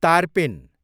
तारपिन